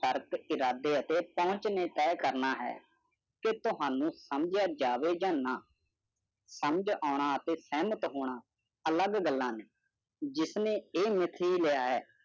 ਤਰਕ ਇਰਾਦੇ ਅਤੇ ਪੂੰਛ ਨੇ ਤੇ ਕਰਨਾ ਹੈ ਕੇ ਤੋਹਾਨੂ ਸੰਜੇਯਾ ਜਾਵੇ ਆ ਨਾ ਸਮਜ ਆਉਣਾ ਅਤੇ ਸਹਿਮਤ ਹੋਣਾ ਅਲੱਗ ਗੱਲਾਂ ਨੇ ਜਿਸਨੇ ਇਹ ਮਿਥੀ ਲਿਆ ਹੈ